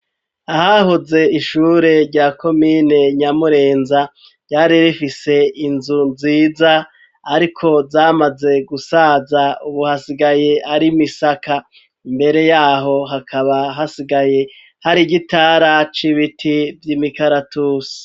Ahahoze ishure rya komine nyamurenza ryari rifise inzu nziza ariko zamaze gusaza ubu hasigaye ari imisaka imbere yaho hakaba hasigaye hari igitara cibiti vy'imikaratusi.